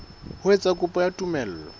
ho etsa kopo ya tumello